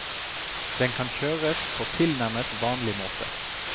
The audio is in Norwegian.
Den kan kjøres på tilnærmet vanlig måte.